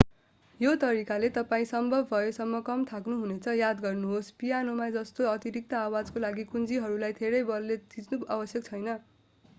यो तरिकाले तपाईं सम्भव भएसम्म कम थाक्नुहुनेछ याद गर्नुहोस् पियानोमा जस्तो अतिरिक्त आवाजको लागि कुञ्जीहरूलाई धेरै बलले थिच्नु आवश्यक छैन